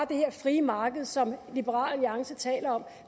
det her frie marked som liberal alliance taler om